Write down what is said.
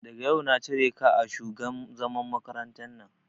Daga yau na cire ka a shugan mazan makarantan nan!